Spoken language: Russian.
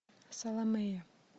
саломея